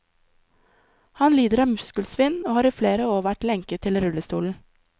Han lider av muskelsvinn og har i flere år vært lenket til rullestolen.